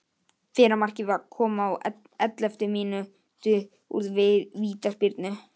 Fyrra markið kom á elleftu mínútu úr vítaspyrnu.